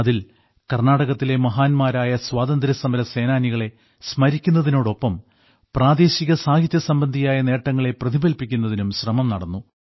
അതിൽ കർണ്ണാടകത്തിലെ മഹാന്മാരായ സ്വാതന്ത്ര്യസമരസേനാനികളെ സ്മരിക്കുന്നതിനോടൊപ്പം പ്രാദേശിക സാഹിത്യസംബന്ധിയായ നേട്ടങ്ങളെ പ്രതിഫലിപ്പിക്കുന്നതിനും ശ്രമം നടന്നു